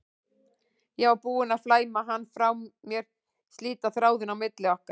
Ég var búin að flæma hana frá mér, slíta þráðinn á milli okkar.